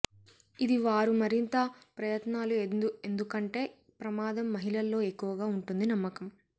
ఇది వారు మరింత ప్రయత్నాలు ఎందుకంటే ప్రమాదం మహిళల్లో ఎక్కువగా ఉంటుంది నమ్మకం